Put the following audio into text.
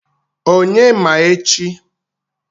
Onye ma echi?